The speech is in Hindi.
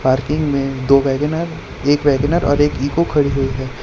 पार्किंग में दो वेगन आर एक वेगन आर और एक इको खड़ी हुई है।